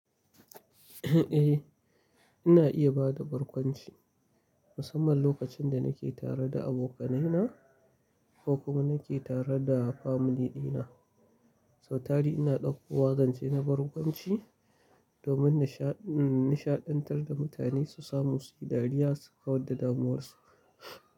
A ina iya ba da barkwanci musamman lokacin da na ke tare da abokanaina ko kuma na ke tare da family din na. Sautari ina ɗauko wa zance na barkwanci domin nishaɗantar da mutane su samu suyi dariya sukawadda damuwarsu.